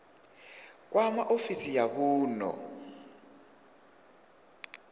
kwama ofisi ya vunḓu i